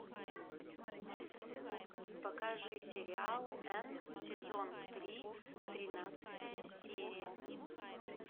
покажи сериал энн сезон три тринадцатая серия